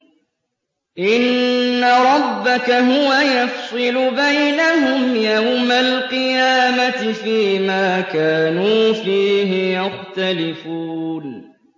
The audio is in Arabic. إِنَّ رَبَّكَ هُوَ يَفْصِلُ بَيْنَهُمْ يَوْمَ الْقِيَامَةِ فِيمَا كَانُوا فِيهِ يَخْتَلِفُونَ